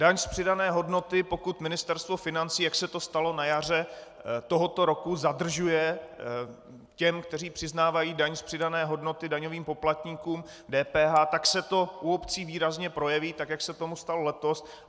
Daň z přidané hodnoty, pokud Ministerstvo financí, jak se to stalo na jaře tohoto roku, zadržuje těm, kteří přiznávají daň z přidané hodnoty, daňovým poplatníkům, DPH, tak se to u obcí výrazně projeví, tak jak se tomu stalo letos.